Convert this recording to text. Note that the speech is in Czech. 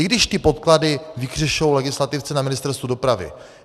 I když ty podklady vykřešou legislativci na Ministerstvu dopravy.